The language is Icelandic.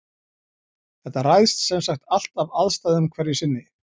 Þetta ræðst semsagt allt af aðstæðum hverju sinni.